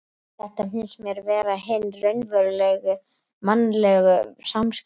Þetta finnst mér vera hin raunverulegu mannlegu samskipti.